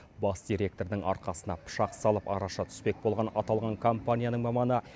бас директордың арқасына пышақ салып араша түспек болған аталған компанияның маманы